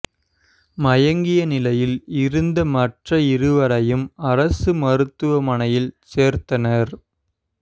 மயங்கிய நிலையில் இருந்த மற்ற இருவரையும் அரசு மருத்துவமனையில் சேர்த்தனர்